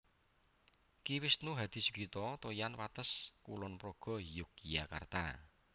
Ki Wisnu Hadisugito Toyan Wates Kulon Progo Yogyakarta